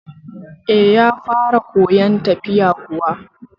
Eh, ya fara koyan tafiya kuwa